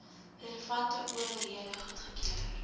relevante owerhede goedgekeur